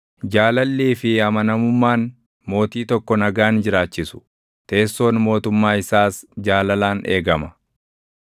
Jaalallii fi amanamummaan mootii tokko nagaan jiraachisu; teessoon mootummaa isaas jaalalaan eegama.